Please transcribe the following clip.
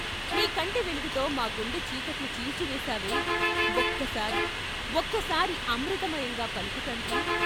నీ కంటి వెలుగుతో మా గుండె చీకట్లు చీల్చివేశావే, ఒక్కసారి ఒక్కసారి అమృతమయంగా పలుకు తండ్రీ.